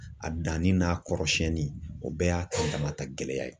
A danni n'a kɔrɔsiyɛnni o bɛɛ y'a ka damata gɛlɛya ye